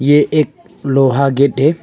ये एक लोहा गेट है।